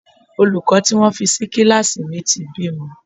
Olùkọ́ tí wọ́n fi sí kíláàsì mi ti bímọ.